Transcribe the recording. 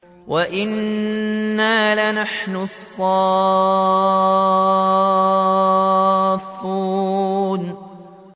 وَإِنَّا لَنَحْنُ الصَّافُّونَ